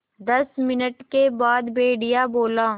दस मिनट के बाद भेड़िया बोला